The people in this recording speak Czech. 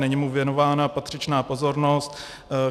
Není mu věnována patřičná pozornost.